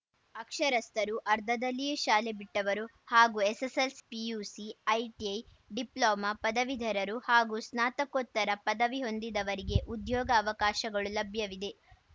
ಅಕ್ಷರಸ್ಥರು ಅರ್ಧದಲ್ಲಿಯೇ ಶಾಲೆ ಬಿಟ್ಟವರು ಹಾಗೂ ಎಸ್ಸೆಸ್ಸೆಲ್ಸಿ ಪಿಯುಸಿ ಐಟಿಐ ಡಿಪ್ಲೊಮೋ ಪದವೀಧರರು ಹಾಗೂ ಸ್ನಾತಕೋತ್ತರ ಪದವಿ ಹೊಂದಿದವರಿಗೆ ಉದ್ಯೋಗ ಅವಕಾಶಗಳು ಲಭ್ಯವಿದೆ